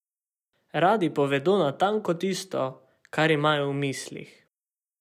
Radi povedo natanko tisto, kar imajo v mislih.